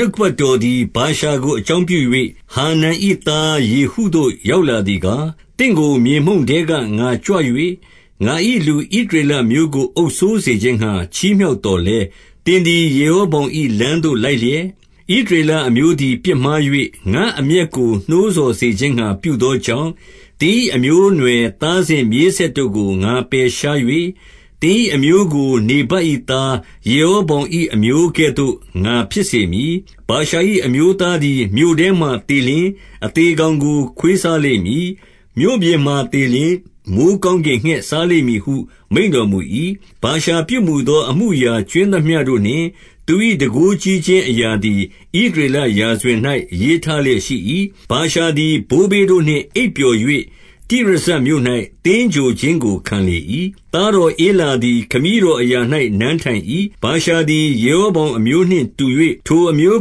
နှုတ်ကပတ်တော်သည် ဗာရှာကို အကြောင်းပြု၍၊ ဟာနန်၏သားယေဟုသို့ ရောက်လာ သည်ကား၊ 2 သင့်ကို မြေမှုန့်ထဲကငါကြွ၍၊ ငါ၏လူဣသရေလအမျိုးကို အုပ်စိုးစေခြင်းငှါ ချီးမြှောက်သော်လည်း၊ သင်သည် ယေရောဗောင်၏လမ်းသို့လိုက်လျက်၊ ဣသရေလအမျိုးသည် ပြစ်မှား၍၊ ငါ့အမျက်ကို နှိုးဆော်စေခြင်းငှါ ပြုသောကြောင့်၊ 3 သင်၏အမျိုးအနွယ်သားစဉ် မြေးဆက်တို့ကို ငါပယ်ရှား၍၊ သင်၏အမျိုးကို နေဗတ်၏သား ယေရော ဗောင်၏ အမျိုးကဲ့သို့ ငါဖြစ်စေမည်။ 4 ဗာရှာ၏အမျိုးသားသည် မြို့ထဲမှာသေလျှင်၊ အသေကောင်ကို ခွေးစားလိမ့်မည်။ မြို့ပြင်မှာသေလျှင် မိုဃ်းကောင်းကင်ငှက် စားလိမ့်မည် ဟုမိန့်တော်မူ၏။ 5 ဗာရှာပြုမူသော အမှုအရာကြွင်းသမျှတို့နှင့် သူ၏တန်ခိုးကြီးခြင်းအရာသည် ဣသရေလရာဇဝင်၌ ရေးထားလျက်ရှိ၏။ 6 ဗာရှာသည် ဘိုးဘေးတို့နှင့် အိပ်ပျော်၍ တိရဇမြို့၌ သင်္ဂြိုဟ်ခြင်းကို ခံလေ၏။ သားတော်ဧလာသည် ခမည်းတော်အရာ၌ နန်းထိုင်၏။ 7 ဗာရှာသည် ယေရောဗောင်အမျိုးနှင့်တူ၍ ထိုအမျိုး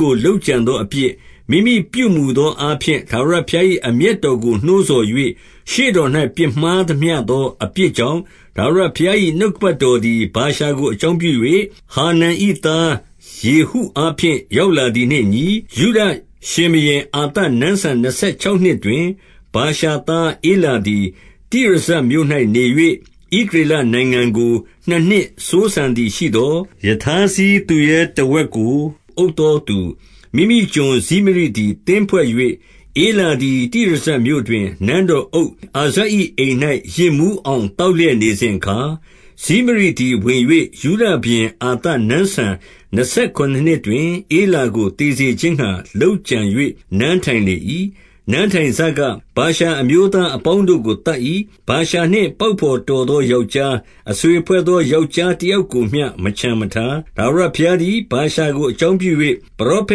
ကို လုပ်ကြံသောအပြစ်၊ မိမိပြုမူသောအားဖြင့်၊ ထာဝရဘုရား၏အမျက်တော်ကို နှိုးဆော်၍၊ ရှေ့တော်၌ ပြစ်မှားသမျှသော အပြစ်ကြောင့် ထာဝရဘုရား၏ နှုတ် ကပတ်တော်သည် ဗာရှာကိုအကြောင်းပြု၍၊ ဟာနန်၏ သားယေဟုအားဖြင့် ရောက်လာသည်နှင့်အညီ၊ 8 ယုဒရှင်ဘုရင်အာသ နန်းစံနှစ်ဆယ်ခြောက်နှစ်တွင်၊ ဗာရှာသားဧလာသည် တိရဇမြို့၌နေ၍ ဣသရေလ နိုင်ငံကို နှစ်နှစ်စိုးစံသည်ရှိသော်၊ 9 ရထားစီးသူရဲတဝက်ကိုအုပ်သောသူ၊ မိမိကျွန် ဇိမရိသည်သင်းဖွဲ့၍၊ ဧလာသည် တိရဇမြို့တွင် နန်းတော် အုပ်အာဇ၏ အိမ်၌ယစ်မူးအောင် သောက်လျက်နေစဉ် အခါ၊ 10 ဇိမရိသည်ဝင်၍ ယုဒရှင်ဘုရင် အာသနန်းစံ နှစ်ဆယ်ခုနစ်နှစ်တွင်၊ ဧလာကို သေစေခြင်းငှါလုပ်ကြံ၍ နန်းထိုင်လေ၏။ 11 နန်းထိုင်စက၊ ဗာရှာအမျိုးသားအပေါင်းတို့ကိုသတ်၏။ ဗာရှာနှင့် ပေါက်ဘော်တော်သော ယောက်ျား၊ အဆွေဖွဲ့သော ယောက်ျားတယောက်ကိုမျှမချန်မထား။ 12 ထာဝရဘုရားသည် ဗာရှာကို အကြောင်းပြု၍ ပရောဖ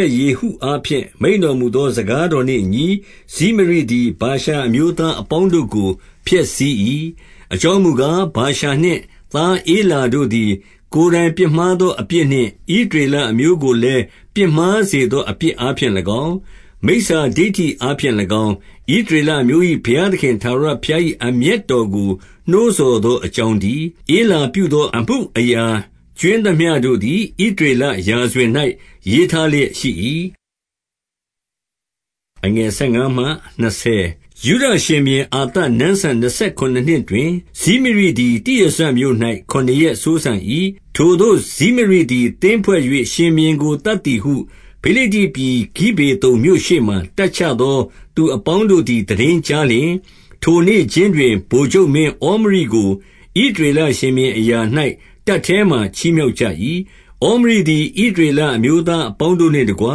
က်ယေဟုအားဖြင့် မိန့်တော်မူသော စကားတော် နှင့်အညီ၊ ဇိမရိသည် ဗာရှာအမျိုးသားအပေါင်းတို့ကို ဖျက်ဆီး၏။ 13 အကြောင်းမူကား၊ ဗာရှာနှင့်သား ဧလာတို့သည် ကိုယ်တိုင်ပြစ်မှားသော အပြစ်နှင့် ဣသရေလ အမျိုးကိုလည်း ပြစ်မှားစေသော အပြစ်အားဖြင့်၎င်း၊ မိစ္ဆာဒိဌိအားဖြင့်၎င်း၊ ဣသရေလအမျိုး၏ ဘုရားသခင် ထာဝရဘုရား၏ အမျက်တော်ကို နှိုးဆော်သော အကြောင်းတည်း။ 14 ဧလာပြုမူသော အမှုအရာကြွင်းသမျှတို့သည် ဣသရေလရာဇဝင်၌ရေးထားလျက် ရှိ၏။ 15 ယုဒရှင်ဘုရင်အာသနန်းစံနှစ်ဆယ် ခုနစ်နှစ် တွင်၊ ဇိမရိသည် တိရဇမြို့၌ ခုနစ်ရက်စိုးစံ၏။ 16 ထိုသို့ ဇိမရိသည် သင်းဖွဲ့၍ ရှင်ဘုရင်ကို သတ်သည်ဟု ဖိလိတ္တိပြည်ဂိဗေသုန်မြို့ရှေ့မှာ တပ်ချသော သူအပေါင်းတို့သည် သိတင်းကြားလျှင်၊ ထိုနေ့ခြင်းတွင် ဗိုလ်ချုပ်မင်းဩမရိကို ဣသရေလရှင်ဘုရင်အရာ၌ တပ်ထဲမှာ ချီးမြှောက်ကြ၏။ 17 ဩမရိသည် ဣသရေလအမျိုးသားအပေါင်းတို့ နှင့်တကွ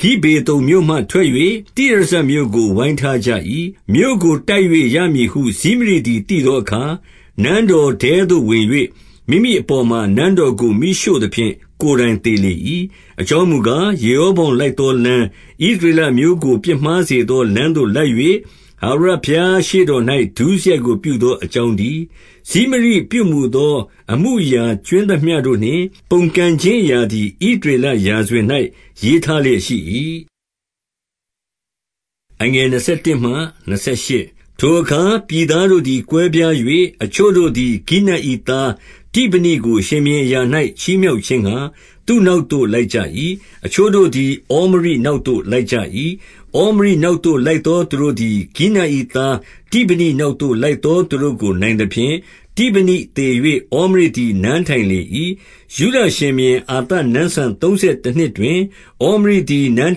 ဂိဗေသုန်မြို့မှထွက်၍၊ တိရဇမြို့ကို ဝိုင်းထား ကြ၏။ 18 မြို့ကိုတိုက်၍ ရမည်ဟုဇိမရိသည် သိသောအခါ၊ နန်းတော်ထဲသို့ဝင်၍ မိမိအပေါ်မှာ နန်းတော်ကို မီးရှို့ သဖြင့် ကိုယ်တိုင်သေလေ၏။ 19 အကြောင်းမူကား၊ ယေရောဗောင်လိုက်သောလမ်း၊ ဣသရေလအမျိုးကို ပြစ်မှားစေသော လမ်းသို့ လိုက်၍ ထာဝရဘုရားရှေ့တော်၌ ဒုစရိုက်ကို ပြုသော အကြောင်းတည်း။ 20 ဇိမရိပြုမူသောအမှုအရာ ကြွင်းသမျှတို့နှင့် ပုန်ကန်ခြင်းအရာသည် ဣသရေလရာဇဝင်၌ ရေးထား လျက် ရှိ၏။ 21 ထိုအခါ ပြည်သားတို့သည် ကွဲပြား၍၊ အချို့တို့သည် ဂိနတ်၏သားတိဗနိကို ရှင်ဘုရင်အရာ၌ ချီးမြှောက် ခြင်းငှါ သူ့နောက်သို့ လိုက်ကြ၏။ အချို့တို့သည် ဩမရိ နောက်သို့လိုက်ကြ၏။ 22 ဩမရိနောက်သို့လိုက်သော သူတို့သည် ဂိနတ်၏ သားတိဗနိနောက်သို့ လိုက်သောသူတို့ကို နိုင်သဖြင့်၊ တိဗနိသေ၍ ဩမရိသည် နန်းထိုင်လေ၏။ 23 ယုဒရှင်ဘုရင် အာသနန်းစံသုံးဆယ်တနှစ်တွင်၊ ဩမရိသည် နန်း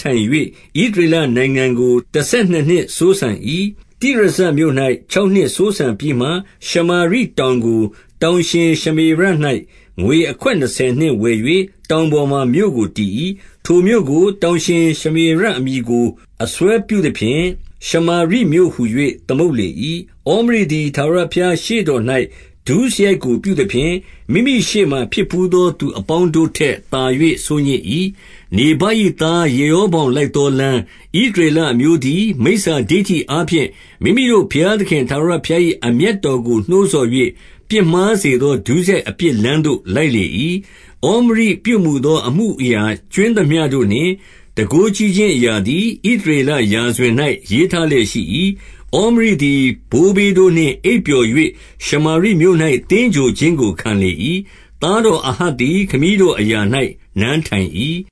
ထိုင်၍ ဣသရေလနိုင်ငံကို တဆယ်နှစ် နှစ်စိုးစံ၏။ တိရဇမြို့၌ ခြောက်နှစ်စိုးစံပြီးမှ၊ 24 ရှမာရိတောင်ကို တောင်ရှင်ရှမေရ၌ ငွေအခွက် နှစ်ဆယ်နှင့် ဝယ်၍ တောင်ပေါ်မှာ မြို့ကိုတည်၏။ ထိုမြို့ ကို တောင်ရှင်ရှမေရအမည်ကို အစွဲပြုသဖြင့်၊ ရှမာရိမြို့ ဟူ၍ သမုတ်လေ၏။ 25 ဩမရိသည် ထာဝရဘုရားရှေ့တော်၌ ဒုစရိုက်ကို ပြုသဖြင့်၊ မိမိရှေ့မှာ ဖြစ်ဘူးသောသူအပေါင်း ထက်သာ၍ ဆိုးညစ်၏။ 26 နေဗတ်၏သား ယေရောဗောင်လိုက်သောလမ်း၊ ဣသရေလအမျိုးသည် မိစ္ဆာဒိဌိအားဖြင့် မိမိတို့ဘုရား သခင် ထာဝရဘုရား၏အမျက်တော်ကို နှိုးဆော်၍၊ ပြစ်မှားစေသော ဒုစရိုက်အပြစ်လမ်းသို့ လိုက်လေ၏။ 27 ဩမရိပြုမူသော အမှုအရာကြွင်းသမျှတို့နှင့် တန်ခိုးကြီးခြင်းအရာသည် ဣသရေလရာဇဝင်၌ ရေးထားလျက် ရှိ၏။ 28 ဩမရိသည် ဘိုးဘေးတို့နှင့်အိပ်ပျော်၍၊ ရှမာရိမြို့၌ သင်္ဂြိုဟ်ခြင်းကို ခံလေ၏။ သားတော်အာဟပ်သည် ခမည်းတော်အရာ၌နန်းထိုင်၏။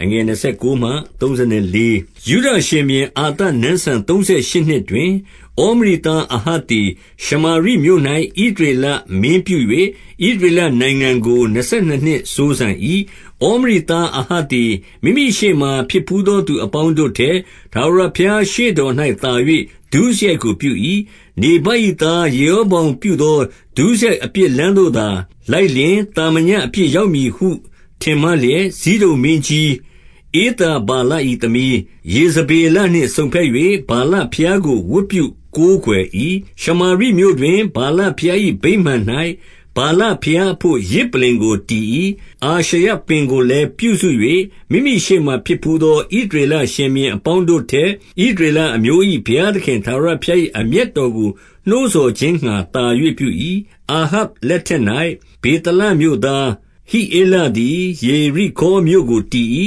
29 ယုဒရှင်ဘုရင်အာသနန်းစံ သုံးဆယ်ရှစ်နှစ်တွင်၊ ဩမရိသားအာဟပ်သည် ရှမာရိမြို့၌ ဣသရေလမင်း ပြု၍၊ ဣသရေလနိုင်ငံကို နှစ်ဆယ်နှစ်နှစ် စိုးစံ၏။ 30 ဩမရိသားအာဟပ်သည် မိမိရှေ့မှာ ဖြစ်ဘူးသောသူအပေါင်းတို့ထက် ထာဝရဘုရားရှေ့တော်၌သာ၍ ဒုစရိုက်ကိုပြု၏။ 31 နေဗတ်၏သားယေရောဗောင်ပြုသော ဒုစရိုက် အပြစ်လမ်းသို့သာလိုက်လျှင်၊ သာမညအပြစ်ရောက်မည် ဟု ထင်မှတ်လျက်၊ ဇိဒုန်မင်းကြီး ဧသဗာလသမီး ယေဇဗေလနှင့်စုံဘက်၍၊ ဗာလဘုရားကို ဝတ်ပြုကိုးကွယ်၏။ 32 ရှမာရိမြို့တွင် ဗာလဘုရား၏ ဗိမာန်၌ ဗာလဘုရားအဘို့ ယဇ်ပလ္လင်ကိုတည်၏။ 33 အာရှရပင်ကိုလည်းပြုစု၍၊ မိမိရှေ့မှာ ဖြစ်ဘူးသော ဣသရေလ ရှင်ဘုရင်အပေါင်းတို့ထက် ဣသရေလ အမျိုး၏ဘုရားသခင် ထာဝရဘုရား၏အမျက်တော်ကို နှိုးဆော်ခြင်းငှါ သာ၍ပြု၏။ 34 အာဟပ်လက်ထပ်၌ ဗေသလမြို့သားဟိဧလသည် ယေရိခေါမြို့ကို တည်၏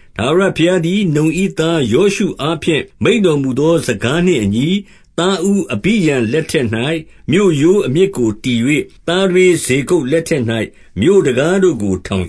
။ ထာဝရဘုရားသည် နုန်၏သားယောရှုအားဖြင့် မိန့်တော်မူသော စကားနှင့် အညီ၊ သားဦးအဘိရံလက်ထက်၌ မြို့ရိုးအမြစ်ကိုတည်၍၊ သားထွေး စေရပ်လက်ထက်၌ မြို့တံခါးတို့ကို ထောင်